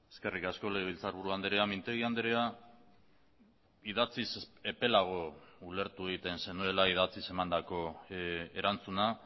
eskerrik asko legebiltzarburu andrea mintegi andrea idatziz epelago ulertu egiten zenuela idatziz emandako erantzuna